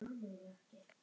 Að vera með þeim.